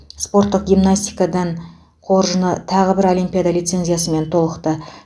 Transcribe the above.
спорттық гимнастикадан қоржыны тағы бір олимпиада лицензиясымен толықты